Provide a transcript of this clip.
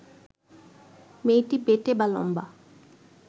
মেয়েটি বেঁটে বা লম্বা